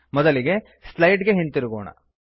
ಮೊದಲಿಗೆ ಸ್ಲೈಡ್ ಗೆ ಹಿಂತಿರುಗೋಣ